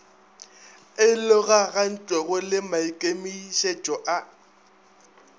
e logagantšwego le maikemietšo a